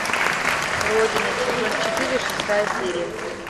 родина сезон четыре шестая серия